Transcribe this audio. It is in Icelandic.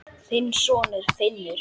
Þinn sonur, Finnur.